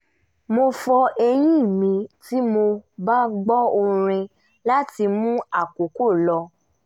mo fọ eyín mi tí mo bá gbọ́ orin láti mú àkókò lọ